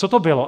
Co to bylo?